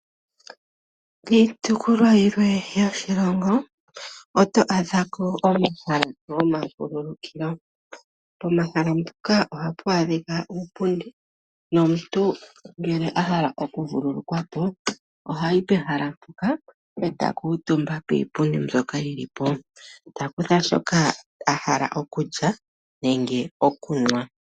Kiitopolwa yilwe yoshilongo oto adhako omahala gomavululukilo. Pomahala mpoka ohapu adhika uupundi nomuntu ngele ahala oku vululukwa po, ohayi pehala mpoka eta kuutumba piipundi mbyoka yilipo, ta kutha shoka a hala okulya nenge okunwa.